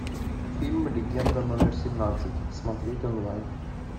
фильм легенда номер семнадцать смотреть онлайн